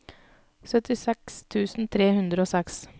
syttiseks tusen tre hundre og seks